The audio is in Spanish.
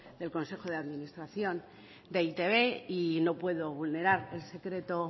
del consejo de administración de e i te be y no puedo vulnerar el secreto